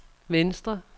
venstre